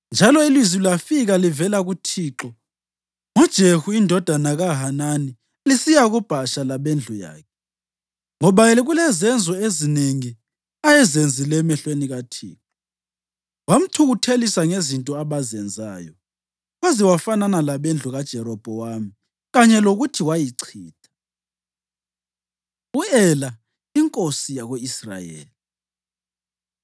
Njalo ilizwi lafika livela kuThixo ngoJehu indodana kaHanani lisiya kuBhasha labendlu yakhe, ngoba kulezono ezinengi ayezenzile emehlweni kaThixo, wamthukuthelisa ngezinto abazenzayo, waze wafanana labendlu kaJerobhowamu kanye lokuthi wayichitha. U-Ela Inkosi Yako-Israyeli